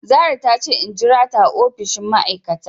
Zarah tace in jirata a opishin ma aikata.